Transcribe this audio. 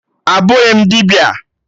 Abụghị m dibịa